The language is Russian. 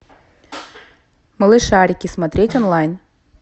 малышарики смотреть онлайн